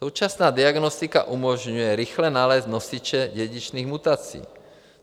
Současná diagnostika umožňuje rychle nalézt nosiče dědičných mutací.